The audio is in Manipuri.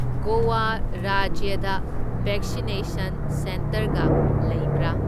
ꯒꯣꯋꯥ ꯔꯥꯖ꯭ꯌꯗ ꯕꯦꯛꯁꯤꯅꯦꯁꯟ ꯁꯦꯟꯇꯔꯒ ꯂꯩꯕꯔꯥ?